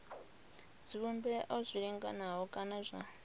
zwivhumbeo zwi linganaho kana zwa